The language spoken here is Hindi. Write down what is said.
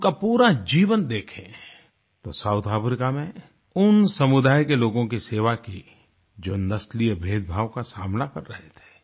उनका पूरा जीवन देखें तो साउथ अफ्रीका में उन समुदायों के लोगों की सेवा की जो नस्लीय भेदभाव का सामना कर रहे थे